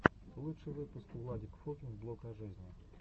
лучший выпуск владик фокин блог о жизни